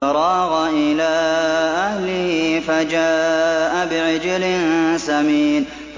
فَرَاغَ إِلَىٰ أَهْلِهِ فَجَاءَ بِعِجْلٍ سَمِينٍ